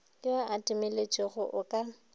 yo a timetšego o ka